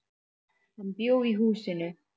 Hann bjó í húsinu.